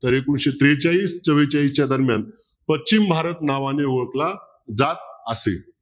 तर एकोणविशे त्रेचाळीस चौरेंचाळीस च्या दरम्यान पश्चिम भारत नावाने ओळखला जात असे.